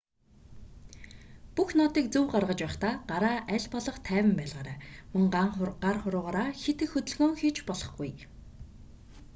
бүх нотыг зөв гаргаж байхдаа гараа аль болох тайван байлгаарай мөн гар хуруугаараа хэт их хөдөлгөөн хийж болохгүй